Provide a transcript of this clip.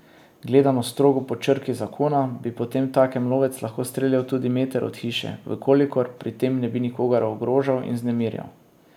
Gledano strogo po črki zakona bi potemtakem lovec lahko streljal tudi meter od hiše, v kolikor pri tem ne bi nikogar ogrožal in vznemirjal.